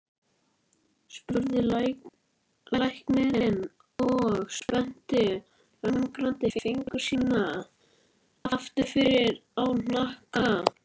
spurði læknirinn og spennti örgranna fingur sína aftur á hnakka.